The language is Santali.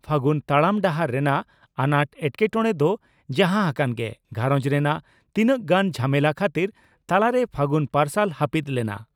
ᱯᱷᱟᱹᱜᱩᱱ ᱛᱟᱲᱟᱢ ᱰᱟᱦᱟᱨ ᱨᱮᱱᱟᱜ ᱟᱱᱟᱴ ᱮᱴᱠᱮᱴᱚᱬᱮ ᱫᱚ ᱡᱟᱦᱟᱸ ᱦᱟᱠᱟᱱ ᱜᱮ ᱜᱷᱟᱨᱚᱸᱡᱽ ᱨᱮᱱᱟᱜ ᱛᱤᱱᱟᱝ ᱜᱟᱱ ᱡᱷᱟᱢᱮᱞᱟ ᱠᱷᱟᱹᱛᱤᱨ ᱛᱟᱞᱟᱨᱮ ᱯᱷᱟᱹᱜᱩᱱ ᱯᱟᱨᱥᱟᱞ ᱦᱟᱹᱯᱤᱫ ᱞᱮᱱᱟ ᱾